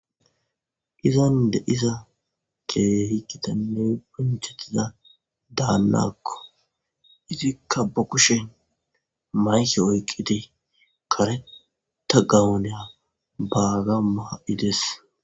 izan de'iza keehi gitaanne bonchettiza daannakko izikka ba kushen mayki oyqqidi kareta gawoneya baaga maa7ides